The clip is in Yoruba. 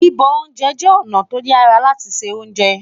bibọ oúnjẹ jé ọna to yàrá láti ṣé ounjẹ